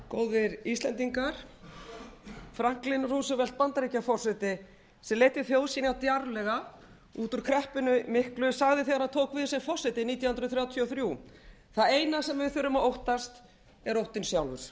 góðir íslendingar franklin roosevelt bandaríkjaforseti sem leiddi þjóð sína djarflega út úr kreppunni miklu sagði þegar hann tók við sem forseti nítján hundruð þrjátíu og þrjú það eina sem við þurfum að óttast er óttinn sjálfur að